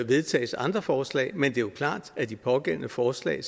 vedtages andre forslag men det er klart at de pågældende forslag